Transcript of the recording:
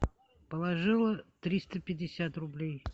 положила триста пятьдесят рублей